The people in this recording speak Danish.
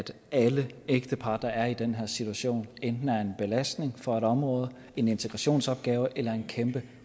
alle ægtepar der er i den her situation enten er en belastning for et område en integrationsopgave eller en kæmpe